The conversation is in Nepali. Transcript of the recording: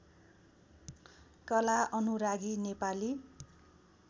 कला अनुरागी नेपाली